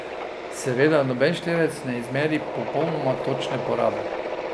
Seveda noben števec ne izmeri popolnoma točne porabe.